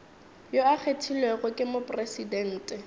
yo a kgethilwego ke mopresidente